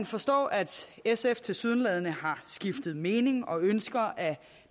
forstå at sf tilsyneladende har skiftet mening og ønsker at